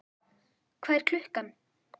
Hvað er klukkan?